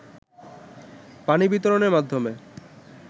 পানি বিতরণের মাধ্যমে